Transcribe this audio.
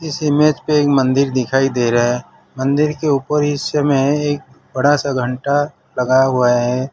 इस इमेज पे एक मंदिर दिखाई दे रहा मंदिर के ऊपर इस समय एक बड़ा सा घंटा लगा हुआ है।